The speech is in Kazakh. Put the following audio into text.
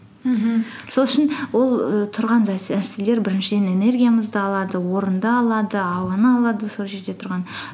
мхм сол үшін ол і тұрған нәрселер біріншіден энергиямызды алады орынды алады ауаны алады сол жерде тұрған